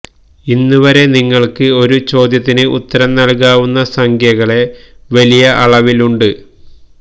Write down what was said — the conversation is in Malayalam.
ഇന്നുവരെ നിങ്ങൾക്ക് ഒരു ചോദ്യത്തിന് ഉത്തരം നൽകാവുന്ന സംഖ്യകളെ വലിയ അളവിൽ ഉണ്ട്